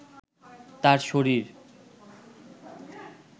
তার শরীর